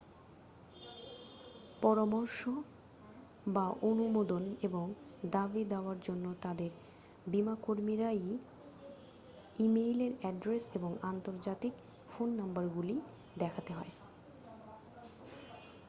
পরামর্শ/অনুমোদন এবং দাবি-দাওয়ার জন্য তাদের বীমাকর্মীর ই-মেইল অ্যাড্রেস এবং আন্তর্জাতিক ফোন নম্বরগুলি দেখাতে হয়।